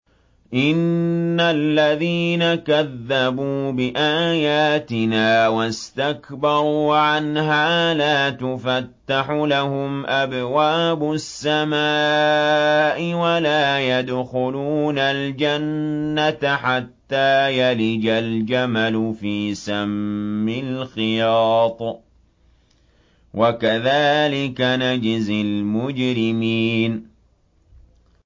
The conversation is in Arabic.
إِنَّ الَّذِينَ كَذَّبُوا بِآيَاتِنَا وَاسْتَكْبَرُوا عَنْهَا لَا تُفَتَّحُ لَهُمْ أَبْوَابُ السَّمَاءِ وَلَا يَدْخُلُونَ الْجَنَّةَ حَتَّىٰ يَلِجَ الْجَمَلُ فِي سَمِّ الْخِيَاطِ ۚ وَكَذَٰلِكَ نَجْزِي الْمُجْرِمِينَ